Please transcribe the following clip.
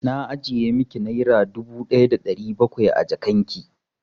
Na ajiye miki naira dubu ɗaya da ɗari bakwai a jakan ki.